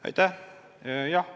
Aitäh!